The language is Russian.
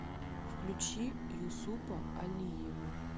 включи юсупа алиева